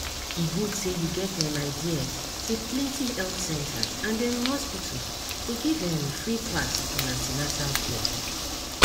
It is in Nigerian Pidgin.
e good say you get um ideas say plenty health centers and um hospitals dey give um free class on an ten atal care